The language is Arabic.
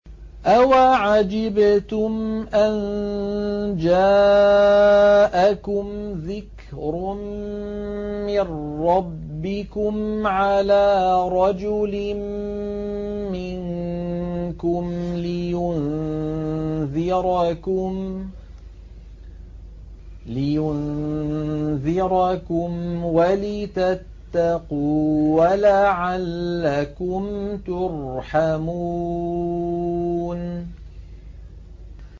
أَوَعَجِبْتُمْ أَن جَاءَكُمْ ذِكْرٌ مِّن رَّبِّكُمْ عَلَىٰ رَجُلٍ مِّنكُمْ لِيُنذِرَكُمْ وَلِتَتَّقُوا وَلَعَلَّكُمْ تُرْحَمُونَ